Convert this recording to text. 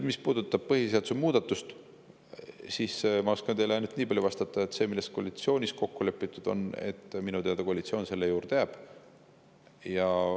Mis puudutab põhiseaduse muudatust, siis ma oskan teile vastata ainult niipalju, et selle juurde, milles koalitsioonis kokku lepitud on, koalitsioon minu teada jääb.